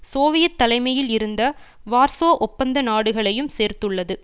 Soviet தலைமையில் இருந்த Warsaw ஒப்பந்த நாடுகளையும் சேர்த்துள்ளது